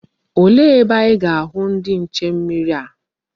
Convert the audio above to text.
Olee ebe anyi ga-ahu ndi nche mmiri a?